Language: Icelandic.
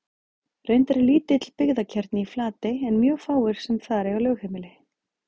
Reyndar er lítill byggðakjarni í Flatey en mjög fáir sem þar eiga lögheimili.